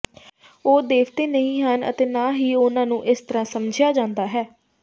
ਉਹ ਦੇਵਤੇ ਨਹੀਂ ਹਨ ਅਤੇ ਨਾ ਹੀ ਉਨ੍ਹਾਂ ਨੂੰ ਇਸ ਤਰ੍ਹਾਂ ਸਮਝਿਆ ਜਾਂਦਾ ਹੈ